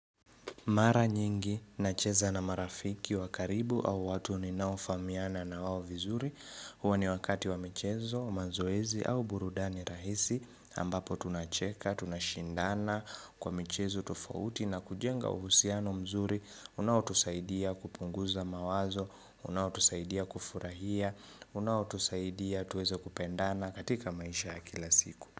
Mara nyingi nacheza na marafiki wa karibu au watu ninaofamiana na wao vizuri. Huwa ni wakati wa michezo, mazoezi au burudani rahisi. Ambapo tunacheka, tunashindana kwa michezo tofauti na kujenga uhusiano mzuri. Unaotusaidia kupunguza mawazo, unaotusaidia kufurahia, unaotusaidia tuweze kupendana katika maisha ya kila siku.